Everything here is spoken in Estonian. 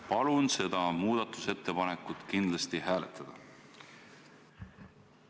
Palun seda muudatusettepanekut kindlasti hääletada!